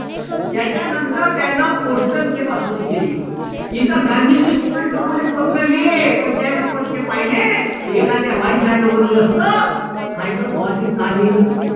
त्याच्या नंतर त्यान postal सेवा सुरु केली. इथं गांधीजी सुभाषबाबुला पत्र लिहे पण त्यांनी पण ते पहिले एखाद्या वहीस राहील म्हणलं असत पाय बर बुवाजीनं काय लिहिलं